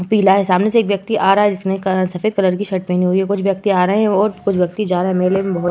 पीला है। सामने से एक व्यक्ति आ रहा है जिसने क सफ़ेद कलर की शर्ट पहनी हुई है। कुछ व्यक्ति आ रहे हैं और कुछ व्यक्ति जा रहे हैं। मेले में बहोत --